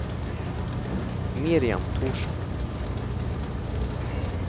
Miriam Thorsen